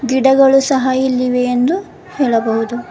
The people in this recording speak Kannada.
ಗಿಡಗಳು ಸಹ ಇಲ್ಲಿವೆ ಎಂದು ಹೇಳಬೌದು.